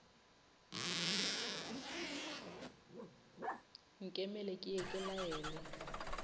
nkemele ke ye ke laele